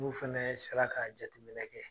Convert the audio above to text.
N'u fana sera ka jateminɛ kɛ